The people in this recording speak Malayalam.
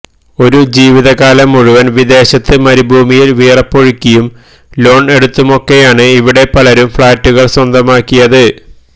ഒരു ജീവിത കാലം മുഴുവൻ വിദേശത്ത് മരുഭൂമിയിൽ വിയർപ്പൊഴുക്കിയും ലോൺ എടുത്തുമൊക്കെയാണ് ഇവിടെ പലരും ഫ്ളാറ്റുകൾ സ്വന്തമാക്കിയത്